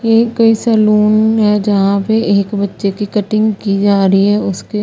ये एक सलोन है जहा पे एक बचे की कटिंग की जा रही है उसके--